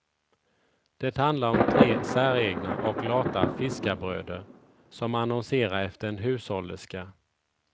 Det handlar om tre säregna och lata fiskarbröder, som annonserar efter en hushållerska.